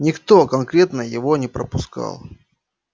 никто конкретно его не пропускал